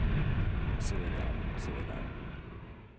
Och så vidare, och så vidare.